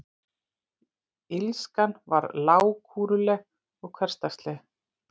Illskan var lágkúruleg og hversdagsleg.